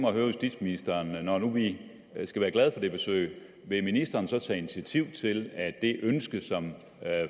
at høre justitsministeren når nu vi skal være glade for det besøg vil ministeren så tage initiativ til at det ønske som